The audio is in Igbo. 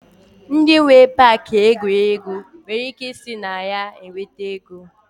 Ndi nwee Pááki egwuregwu nwere ike ị so na ya nweta ego